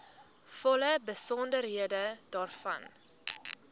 volle besonderhede daarvan